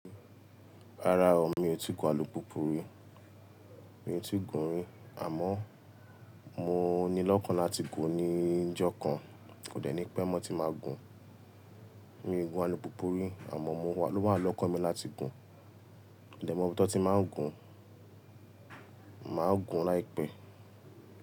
Rárá o, mi ò tí ì gun alùpùpù rí. Mi ò tí ì gun rí àmọ́ mo ni lọ́kàn láti gùn ní ìjọ kan. Kò dẹ́ ni pẹ́ mọ́ ti máa gùn. Mi ò gun alùpùpù rí àmọ́ mo o wà lókan mi láti gùn. Mò dẹ́ mọ́ ibi tọ́ tí n máa gùn. Màá gùn láìpẹ́.